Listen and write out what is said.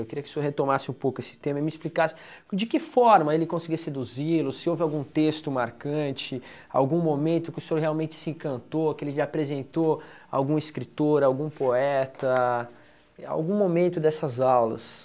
Eu queria que o senhor retomasse um pouco esse tema e me explicasse de que forma ele conseguia seduzi-lo, se houve algum texto marcante, algum momento que o senhor realmente se encantou, que ele lhe apresentou algum escritor, algum poeta, algum momento dessas aulas.